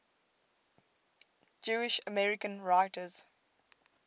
jewish american writers